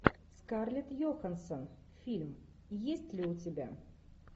скарлетт йоханссон фильм есть ли у тебя